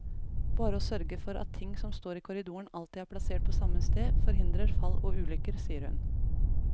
Bare å sørge for at ting som står i korridoren alltid er plassert på samme sted, forhindrer fall og ulykker, sier hun.